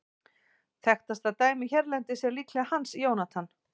Þekktasta dæmið hérlendis er líklega Hans Jónatan.